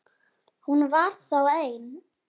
Hún var þá ein!